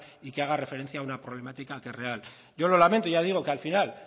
y que haga referencia a una problemática que es real yo lo lamento ya digo que al final